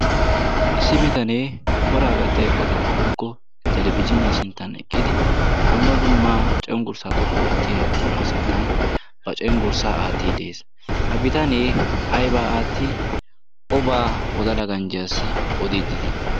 issi bitanee coraa gattiya eqotaa woikko talabiziiniyaa sinttan eqqidi dumma dummaa cenggurssaa xoqqu oottiya buquraa sinttan ba cenggurssaa aatti de7ees ha bitanee aibaa aatti obaa wodala ganjjiyaassi odiiddiidi?